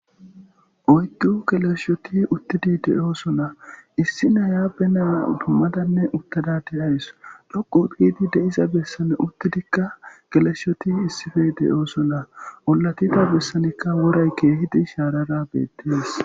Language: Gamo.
Oygo keleshoti uttidi de'oo sona issi nayaabe naya dummadanne uttada deyays loqu biidi de'iza bessane uttidikka geleshshoti issife de'oo sona ollatifa bessanikka woray keehidi shaarara beettes.